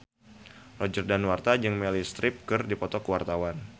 Roger Danuarta jeung Meryl Streep keur dipoto ku wartawan